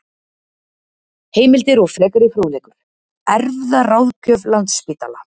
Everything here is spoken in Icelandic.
Heimildir og frekari fróðleikur: Erfðaráðgjöf Landspítala.